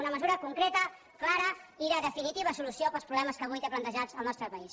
una mesura concreta clara i de definitiva solució per als problemes que avui té plantejats el nostre país